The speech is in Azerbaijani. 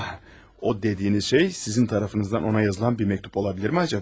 O dediyiniz şey sizin tərəfinizdən ona yazılan bir məktub ola bilirmi acaba?